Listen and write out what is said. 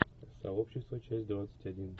сообщество часть двадцать один